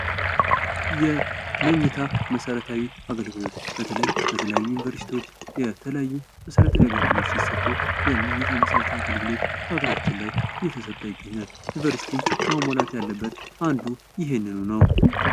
የመኝታ መሰረታዊ የአገልግሎት በተለይ በተለያዩ ዩኒቨርስቲዎች የተለያዩ መሰረተ ሃገልግሎቶች ሲሰጡ የመኝታ መሰረታዊ የአገልግሎት በሀገራችን ላይ እየተሰጠ ይገኛል ዩኒቨርሲቲዎችን መሟላት ያለበት አንዱ ይህንኑ ነው።